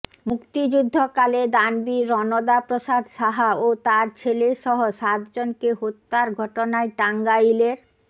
মুক্তিযুদ্ধকালে দানবীর রণদা প্রসাদ সাহা ও তার ছেলেসহ সাতজনকে হত্যার ঘটনায় টাঙ্গাইলের